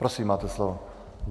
Prosím, máte slovo.